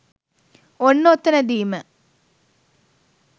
ඔන්න ඔතනදිම